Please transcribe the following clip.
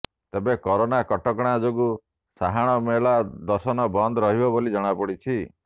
ତେବେ କରୋନା କଟକଣା ଯୋଗୁଁ ସାହାଣ ମେଲା ଦର୍ଶନ ବନ୍ଦ ରହିବ ବୋଲି ଜଣାପଡିଛି